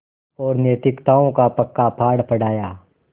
और नैतिकताओं का पक्का पाठ पढ़ाया